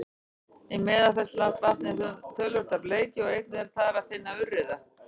í meðalfellsvatni er töluvert af bleikju og einnig er þar að finna urriða